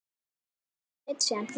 Forseti sleit síðan fundi.